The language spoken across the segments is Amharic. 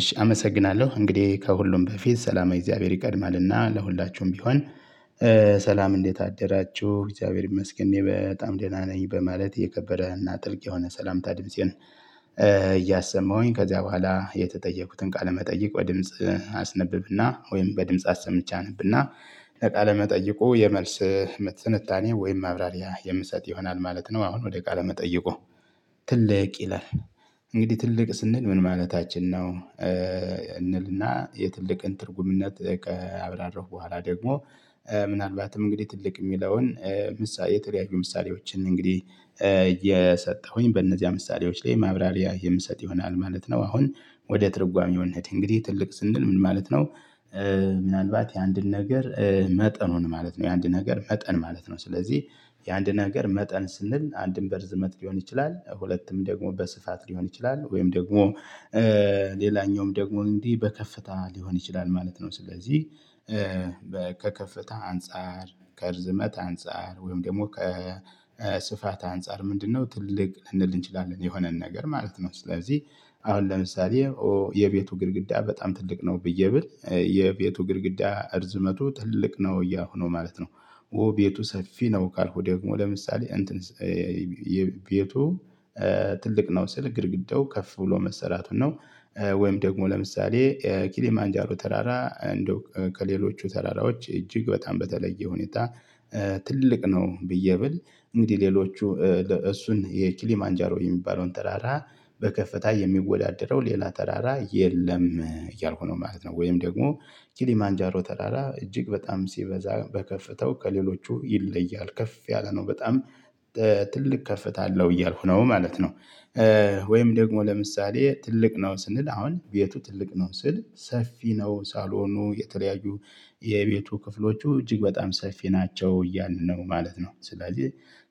እሺ አመሰግናለሁ እንግዲህ ከሁሉም በፊት ሰላመ እግዚአብሔር ይቀድማልና ለሁላችሁም ቢሆን። ሰላም እንዴት አደራችሁ እግዚአብሔር ይመስገን እኔ በጣም ደህና ነኝ በማለት የከበረና ጥልቅ የሆነ ሰላምታ ድምፄን። እያሰማሁ ከዚያ በኋላ የተጠየቁትን ቃለመጠይቅ በድምጽ አስነብብና ወይም በድምጽ አሰምቼ አነብና ለቃለ መጠይቁ የመልስ ምት ትንታኔ ወይም ማብራሪያ የምሰጥ ይሆናል ማለት ነው። አሁን ወደ ቃለ መጠየቁ? ትልቅ ይላል እንግዲህ ትልቅ ስንል ምን ማለታችን ነው? የትልቅን ትርጉምነት ከአብራረሁ በኋላ ደግሞ ምናልባትም እንግዲህ ትልቅ የሚለውን የተለያዩ ምሳሌዎችን እንግዲህ እየሰጠሁኝ በእነዚያ ምሳሌዎች ላይ ማብራሪያ የምሰጥ ይሆናል ማለት ነው። አሁን ወደ ትርጓሜው እንሂድ እንግዲህ ትልቅ ስንል ምን ማለት ነው? ምናልባት የአንድን ነገር መጠኑን ማለት ነው የአንድ ነገር መጠን ማለት ነው። ስለዚህ የአንድ ነገር መጠን ስንል አንድም በርዝመት ሊሆን ይችላል ሁለቱም ደግሞ በስፋት ሊሆን ይችላል ወይም ደግሞ ሌላኛውም ደግሞ እንዲህ በከፍታ ሊሆን ይችላል ማለት ነው። ስለዚህ ከከፍታ አንፃር ከርዝመት አንፃር ወይም ደግሞ ከስፋት አንፃር ምንድነው ትልቅ ልንል እንችላለን የሆነን ነገር ማለት ነው? ስለዚህ አሁን ለምሳሌ የቤቱ ግድግዳ በጣም ትልቅ ነው ብዬ ብል የቤቱ ግድግዳ እርዝመቱ ትልቅ ነው እያሁ ነው ማለት ነው። ኦ ቤቱ ሰፊ ነው ካልሁ ደግሞ ለምሳሌ እንትን የቤቱ ትልቅ ነው ስል ግድግዳው ከፍ ብሎ መሰራቱን ነው። ወይም ደግሞ ለምሳሌ ኪሌ ማንጃሮ ተራራ እንደው ከሌሎቹ ተራራዎች እጅግ በጣም በተለየ ሁኔታ ትልቅ ነው። ብዬ ብል እንግዲህ ሌሎቹ እሱን የኪሊ ማንጃሮ የሚባለውን ተራራ በከፍታ የሚወዳደረው ሌላ ተራራ የለም እያልኩ ነው ማለት ነው። ወይም ደግሞ ኪሊ ማንጃሮ ተራራ እጅግ በጣም ሲበዛ በከፍታው ከሌሎቹ ይለያል ከፍ ያለ ነው። በጣም ትልቅ ከፍታ አለው እያልኩ ነው ማለት ነው። ወይም ደግሞ ለምሳሌ ትልቅ ነው ስንል አሁን ቤቱ ትልቅ ነው ስል ሰፊ ነው ሳሎኑ የተለያዩ የቤቱ ክፍሎቹ እጅግ በጣም ሰፊ ናቸው እያልን ነው ማለት ነው። ስለዚህ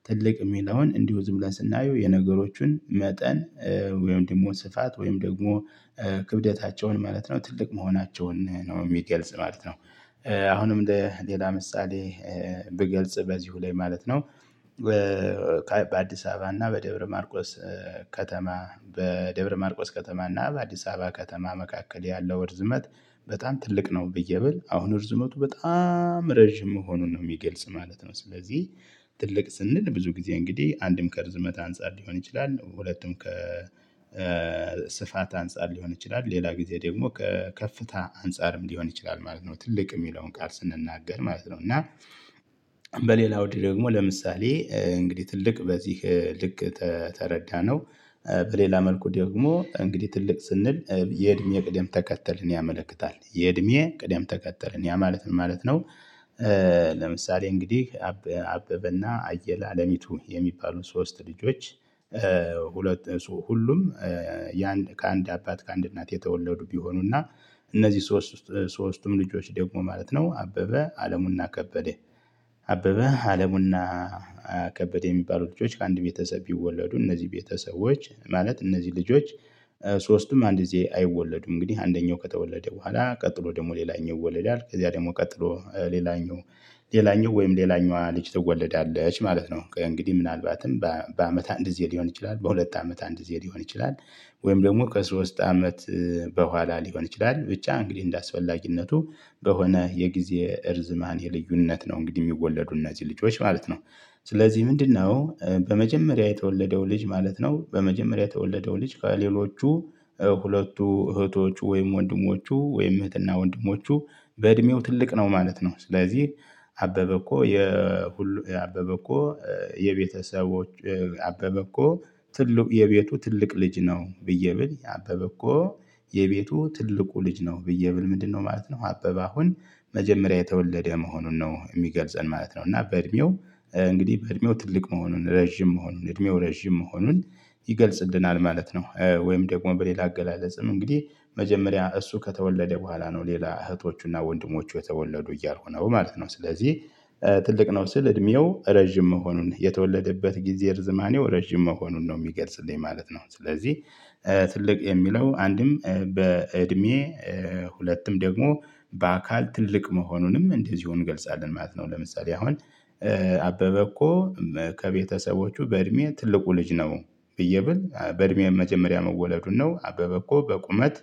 ትልቅ የሚለውን እንዲሁ ዝም ብለን ስናየው የነገሮቹን መጠን ወይም ደግሞ ስፋት ወይም ደግሞ ክብደታቸውን ማለት ነው ትልቅ መሆናቸውን ነው የሚገልጽ ማለት ነው። አሁንም ለሌላ ምሳሌ ብገልጽ በዚሁ ላይ ማለት ነው። በአዲስ አበባ እና በደብረ ማርቆስ ከተማ በደብረ ማርቆስ ከተማ እና በአዲስ አበባ ከተማ መካከል ያለው እርዝመት በጣም ትልቅ ነው ብዬ ብል አሁን እርዝመቱ በጣም ረጅም መሆኑን ነው የሚገልጽ ማለት ነው። ስለዚህ ትልቅ ስንል ብዙ ጊዜ እንግዲህ አንድም ከርዝመት አንፃር ሊሆን ይችላል ሁለቱም ከ ስፋት አንፃር ሊሆን ይችላል ሌላ ጊዜ ደግሞ ከፍታ አንፃርም ሊሆን ይችላል ማለት ነው። ትልቅ የሚለውን ቃል ስንናገር ማለት ነው። እና በሌላ አውድ ደግሞ ለምሳሌ እንግዲህ ትልቅ በዚህ ልክ ተረዳነው በሌላ መልኩ ደግሞ እንግዲህ ትልቅ ስንል የእድሜ ቅደም ተከተልን ያመለክታል የእድሜ የቅድም ተከተልን ያ ማለት ምን ማለት ነው? ለምሳሌ እንግዲህ አበበና አየለ አለሚቱ የሚባሉን ሶስት ልጆች። ሁለት ሁሉም ከአንድ አባት ከአንድ እናት የተወለዱ ቢሆኑና እነዚህ ሶስት ሶስቱም ልጆች ደግሞ ማለት ነው አበበ አለሙና ከበደ አበበ አለሙና ከበደ የሚባሉ ልጆች ከአንድ ቤተሰብ ቢወለዱ እነዚህ ቤተሰቦች ማለት እነዚህ ልጆች ሶስቱም አንድ ጊዜ አይወለዱም እንግዲህ አንደኛው ከተወለደ በኋላ ቀጥሎ ደግሞ ሌላኛው ወለዳል ከዚያ ደግሞ ቀጥሎ ሌላኛው ሌላኛው ወይም ሌላኛዋ ልጅ ትወለዳለች ማለት ነው እንግዲህ ምናልባትም በአመት አንድ ሊሆን ይችላል በሁለት አመት አንድ ሊሆን ይችላል። ወይም ደግሞ ከሶስት አመት በኋላ ሊሆን ይችላል ብቻ እንግዲህ እንደ አስፈላጊነቱ በሆነ የጊዜ እርዝማኔ ልዩነት ነው እንግዲህ የሚወለዱ እነዚህ ልጆች ማለት ነው። ስለዚህ ምንድነው በመጀመሪያ የተወለደው ልጅ ማለት ነው? በመጀመሪያ የተወለደው ልጅ ከሌሎቹ ሁለቱ እህቶቹ ወይም ወንድሞቹ ወይም እህትና ወንድሞቹ በእድሜው ትልቅ ነው ማለት ነው። ስለዚህ አበበ እኮ የሁሉ የአበበ እኮ የቤተሰቦች አበበ እኮ ትልቅ የቤቱ ትልቅ ልጅ ነው ብዬ ብል የአበበ እኮ የቤቱ ትልቁ ልጅ ነው ብዬ ብል ምንድነው ማለት ነው? አበበ አሁን መጀመሪያ የተወለደ መሆኑን ነው የሚገልጸን ማለት ነው። እና በእድሜው እንግዲህ በእድሜው ትልቅ መሆኑን ረጅም መሆኑን እድሜው ረጅም መሆኑን ይገልጽልናል ማለት ነው። ወይም ደግሞ በሌላ አገላለጽም እንግዲህ መጀመሪያ እሱ በኋላ ነው ሌላ እህቶቹና ወንድሞቹ የተወለዱ እያልኩ ነው ማለት ነው። ስለዚህ ትልቅ ነው ስል እድሜው ረጅም መሆኑን የተወለደበት ጊዜ ርዝማኔው ረጅም መሆኑን ነው የሚገልጽልኝ ማለት ነው። ስለዚህ ትልቅ የሚለው አንድም በእድሜ ሁለቱም ደግሞ በአካል ትልቅ መሆኑንም እንደዚሁ እገልጻለሁ ማለት ነው። ለምሳሌ አሁን አበበ እኮ ከቤተሰቦቹ በእድሜ ትልቁ ልጅ ነው። ብዬ ብል በእድሜ መጀመሪያ መወለዱን ነው አበበ እኮ በቁመት